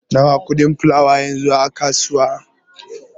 Nawa kuɗin fulawa yanzu a kasuwa?